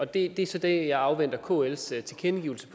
det er så det jeg afventer kls tilkendegivelse